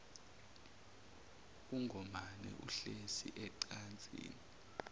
ungomane uhlezi ecansini